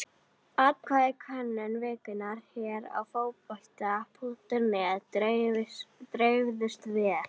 Atkvæðin í könnun vikunnar hér á Fótbolta.net dreifðust vel.